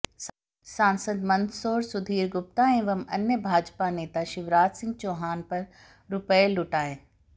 सांसद मंदसौर सुधीर गुप्ता एवं अन्य ने भाजपा नेता शिवराजसिंह चौहान पर रुपये लुटाए